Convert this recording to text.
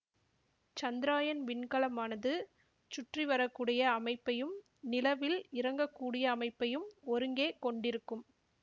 சந்திராயன் விண்கலமானது சுற்றிவரக்கூடிய அமைப்பையும் நிலவில் இறங்கக்கூடிய அமைப்பையும் ஒருங்கே கொண்டிருக்கும்